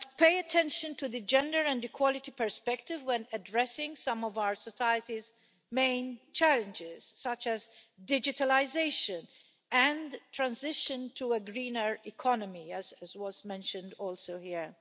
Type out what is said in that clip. We must pay attention to the gender and equality perspective when addressing some of our society's main challenges, such as digitalisation and transition to a greener economy, as was mentioned also here.